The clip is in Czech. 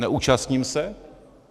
Neúčastním se?